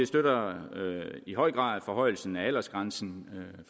støtter i høj grad forhøjelsen af aldersgrænsen